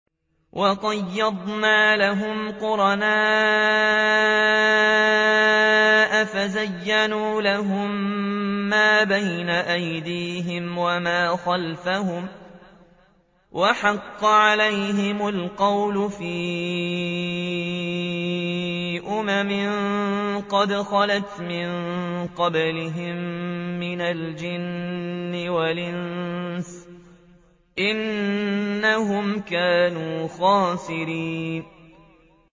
۞ وَقَيَّضْنَا لَهُمْ قُرَنَاءَ فَزَيَّنُوا لَهُم مَّا بَيْنَ أَيْدِيهِمْ وَمَا خَلْفَهُمْ وَحَقَّ عَلَيْهِمُ الْقَوْلُ فِي أُمَمٍ قَدْ خَلَتْ مِن قَبْلِهِم مِّنَ الْجِنِّ وَالْإِنسِ ۖ إِنَّهُمْ كَانُوا خَاسِرِينَ